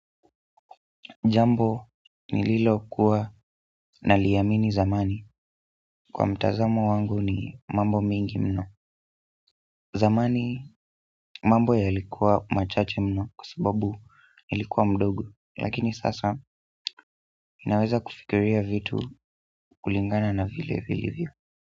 Jambo nililokuwa naliamini zamani kwa mtazamo wangu ni mambo mengi mno. Zamani mambo yalikuwa machache mno kwasababu nilikuwa mdogo. Lakini sasa ninaweza kufikiria vitu kulingana na vile vilivyo.